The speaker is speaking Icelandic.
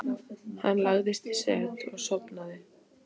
Hann lagðist í set og sofnaði.